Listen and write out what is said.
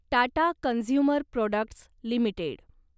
Tata consumer products limited